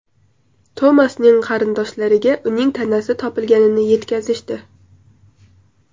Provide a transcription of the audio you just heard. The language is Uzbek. Tomasning qarindoshlariga uning tanasi topilganini yetkazishdi.